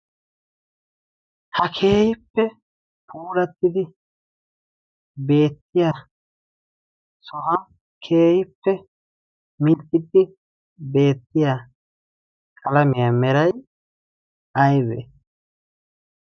ha keehippe huurattidi beettiya sohan keeyippe milixiddi beettiya kalamiyaa meray aywe?